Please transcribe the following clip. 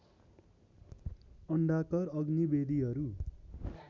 अंडाकार अग्निवेदीहरू